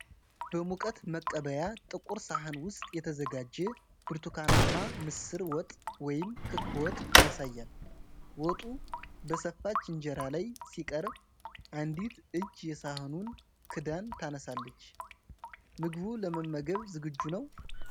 በሙቀት መቀበያ ጥቁር ሳህን ውስጥ የተዘጋጀ ብርቱካናማ ምስር ወጥ (ክክ ወጥ) ያሳያል። ወጡ በሰፋች እንጀራ ላይ ሲቀርብ፣ አንዲት እጅ የሳህኑን ክዳን ታነሳለች። ምግቡ ለመመገብ ዝግጁ ነው?